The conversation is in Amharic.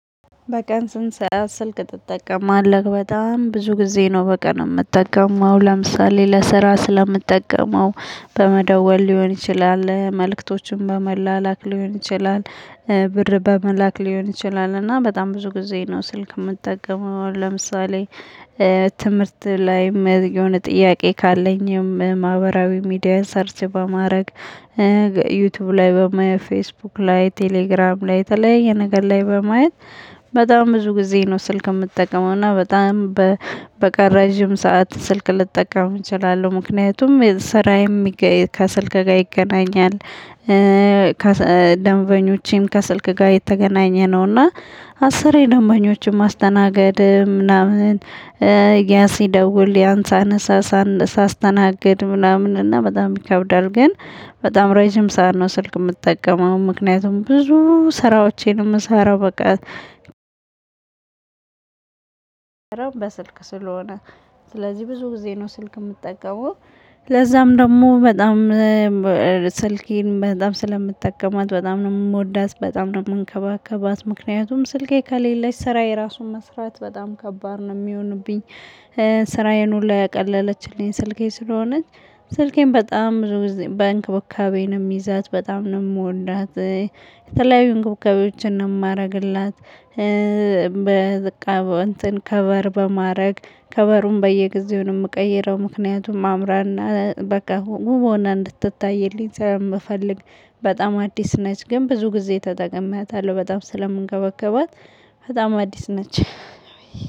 በቀን ስንት ሰዓት ስልክ ትጠቀማለህ? በጣም ብዙ ጊዜ ነው በቀን የምጠቀመው ለምሳሌ ለስራ ስለምጠቀመው በመደወል ሊሆን ይችላል መልእክቶችም በመላላክ ሊሆን ይችላል። ብር በመላክ ሊሆን ይችላል እና በጣም ብዙ ጊዜ ነው ስልክ የምትጠቀመው ለምሳሌ። ትምህርት ላይ የሆነ ጥያቄ ካለኝም ማህበራዊ ሚዲያ ሰርች በማድረግ ዩቲዩብ ላይ በማየት ፌስቡክ ላይ ቴሌግራም ላይ በተለያየ ነገር ላይ በማየት። በጣም ብዙ ጊዜ ነው ስልክ የምጠቀመው። እና በጣም በቃ ረዥም ሰዓት ስልክ ልጠቀም እችላለሁ ምክንያቱም ስራዬም ከስልክ ጋር ይገናኛል። ደንበኞቼም ከስልክ ጋር የተገናኘ ነውና። አስሬ ደንበኞችን ማስተናገድ ምናምን። ያ ሲደውል ያን ሳነሳ። ሳስተናግድ ምናምን እና በጣም ይከብዳል። ግን በጣም ረጅም ሰዓት ነው ስልክ የምጠቀመው። ምክንያቱም ብዙ ስራዎቼን የምሰራው በቃ በስልክ ስለሆነ። ስለዚህ ብዙ ጊዜ ነው ስልክ የምጠቀመው። ለዛም ደግሞ በጣም ስልኬን በጣም ስለምጠቀማት በጣም ነው የምወዳት በጣም ነው የምንከባከባት ምክንያቱም ስልኬ ከሌለች ስራዬ ራሱን መስራት በጣም ከባድ ነው የሚሆንብኝ። ሁሉ ያቀለለችልኝ ስልኬ ስለሆነች። ስልኬን በጣም ብዙ ጊዜ በእንክብካቤ ነው የሚይዛት በጣም ነው የምወዳት። የተለያዩ እንክብካቤዎችን ነው የማደርግላት። በእንተን ከቨር በማድረግ ከቨሩን በየጊዜውን የምቀይረው ምክንያቱም አምራና በቃ ዉብ ሆና እንድትታይልኝ ስለምፈልግ። በጣም አዲስ ነች ግን ብዙ ጊዜ ተጠቅሜአታለሁ በጣም ስለምንከባከባት። በጣም አዲስ ነች።